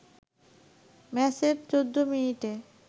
ম্যাচের ১৪ মিনিটে